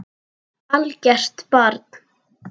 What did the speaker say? Algert barn.